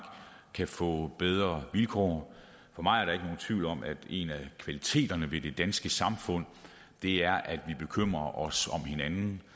kan få bedre vilkår for mig er der ikke tvivl om at en af kvaliteterne ved det danske samfund er at vi bekymrer os om hinanden